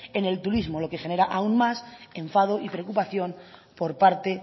en el turismo lo que genera aún más enfado y preocupación por parte